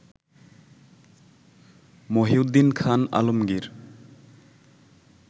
Mohiuddin Khan Alamgir